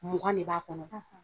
Mugan de b'a kɔnɔ.